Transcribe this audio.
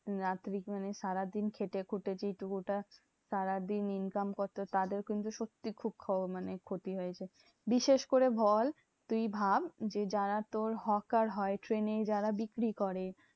দিন রাত্রি মানে সারাদিন খেটে খুটে যেইটুকু টা সারাদিন income করতো তাদের কিন্তু সত্যি খুব মানে ক্ষতি হয়েছে। বিশেষ করে বল তুই ভাব যে, যারা তোর হকার হয় ট্রেনে যারা বিক্রি করে